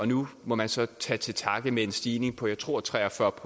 nu må man så tage til takke med en stigning på jeg tror tre og fyrre